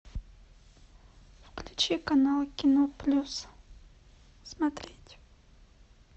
включи канал кино плюс смотреть